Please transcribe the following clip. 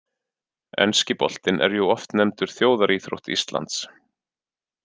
Enski boltinn er jú oft nefndur þjóðaríþrótt Íslands.